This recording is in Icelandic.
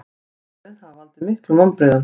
Viðbrögðin hafi valdið miklum vonbrigðum